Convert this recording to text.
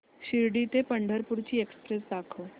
शिर्डी ते पंढरपूर ची एक्स्प्रेस दाखव